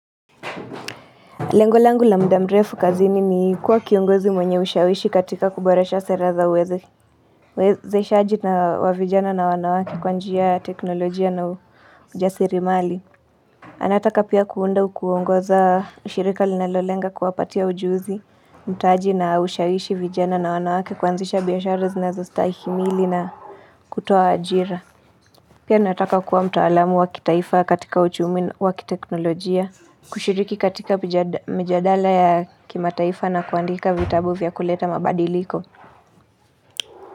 Lengolangu la muda mrefu kazini ni kuwa kiongozi mwenye ushawishi katika kuboresha sera za weze uwezeshaji na wavijana na wanawake kwa njia ya teknolojia na ujasiri mali anataka pia kuunda au kuongoza ushirika linalolenga kuwapatia ujuzi mtaji na ushawishi vijana na wanawake kuanzisha biashara zinazostahimili na kutoa ajira Pia nataka kuwa mtaalamu wakitaifa katika uchumi wa kiteknolojia kushiriki katika mijadala ya kimataifa na kuandika vitabu vya kuleta mabadiliko.